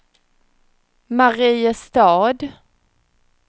Mariestad